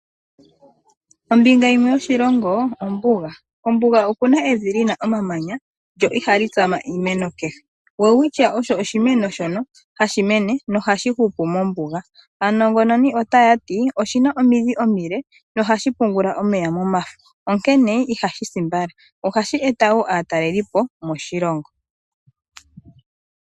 Ombinga yimwe yoshilongo ombuga. Kombuga oku na evi li na omamanya lyo ihali tsama iimeno kehe. Welwitchia osho oshimeno hashi mene mombuga nohashi hupu mombuga. Aanongononi otaya ti oshi na omidhi omile nohashi pungula omeya momafo, onkene ihashi si mbala. Ohashi eta wo aatalelipo moshilongo.